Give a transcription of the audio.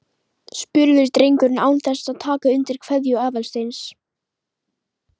spurði drengurinn án þess að taka undir kveðju Aðalsteins.